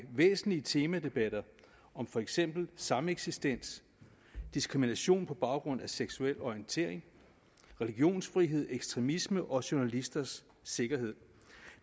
væsentlige temadebatter om for eksempel sameksistens diskrimination på baggrund af seksuel orientering religionsfrihed ekstremisme og journalisters sikkerhed